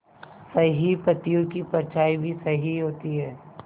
सही पत्तियों की परछाईं भी सही होती है